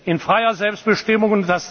Demokratie in freier Selbstbestimmung